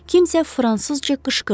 Kimsə fransızca qışqırdı.